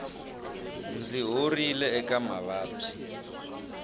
ndzi horile eka mavabyi